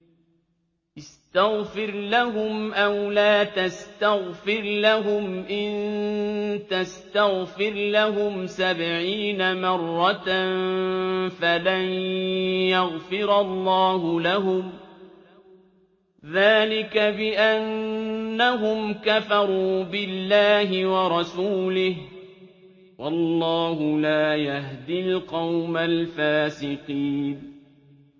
اسْتَغْفِرْ لَهُمْ أَوْ لَا تَسْتَغْفِرْ لَهُمْ إِن تَسْتَغْفِرْ لَهُمْ سَبْعِينَ مَرَّةً فَلَن يَغْفِرَ اللَّهُ لَهُمْ ۚ ذَٰلِكَ بِأَنَّهُمْ كَفَرُوا بِاللَّهِ وَرَسُولِهِ ۗ وَاللَّهُ لَا يَهْدِي الْقَوْمَ الْفَاسِقِينَ